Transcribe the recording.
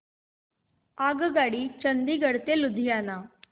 आगगाडी चंदिगड ते लुधियाना